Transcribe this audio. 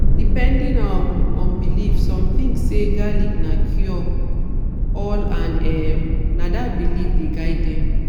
depending um on belief some think say garlic na cure-all and um na dat belief dey guide dem.